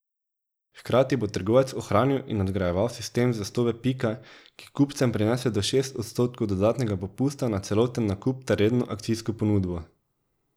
Hkrati bo trgovec ohranil in nadgrajeval sistem zvestobe Pika, ki kupcem prinese do šest odstotkov dodatnega popusta na celoten nakup ter redno akcijsko ponudbo.